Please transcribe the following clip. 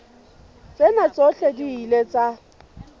tsena tsohle di ile tsa